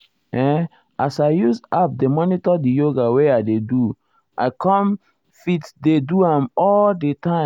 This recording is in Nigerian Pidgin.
eh as i use um app dey monitor di yoga wey i dey do um i com me fit dey do am all the time.